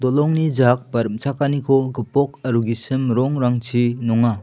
dollongni jak ba rim·chakaniko gipok aro gisim rongrangchi nonga.